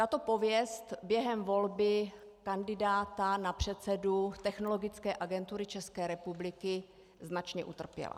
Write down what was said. Tato pověst během volby kandidáta na předsedu Technologické agentury České republiky značně utrpěla.